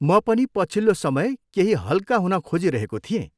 म पनि पछिल्लो समय केही हल्का हुन खाजिरहेको थिएँ।